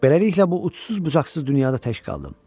Beləliklə bu ucsuz-bucaqsız dünyada tək qaldım.